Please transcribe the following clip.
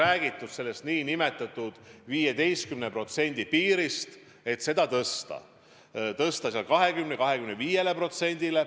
On räägitud nn 15% piirist, et tõsta see 20–25%-ni.